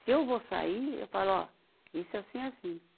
Se eu vou sair, eu falo, ó, isso assim, assim.